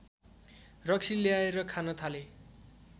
रक्सी ल्याएर खान थाले